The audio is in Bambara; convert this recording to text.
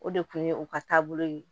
O de kun ye u ka taabolo ye